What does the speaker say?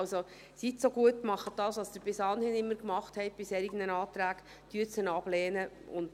Also, seien Sie so gut und tun Sie, was Sie bei solchen Anträgen bis anhin immer getan haben, und lehnen Sie ihn ab.